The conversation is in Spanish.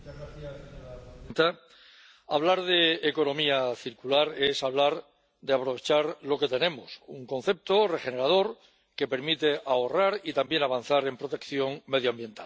Señora presidenta, hablar de economía circular es hablar de aprovechar lo que tenemos, un concepto regenerador que permite ahorrar y también avanzar en protección medioambiental.